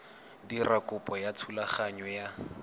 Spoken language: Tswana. dira kopo ya thulaganyo ya